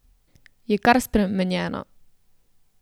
Je kar spremenjena.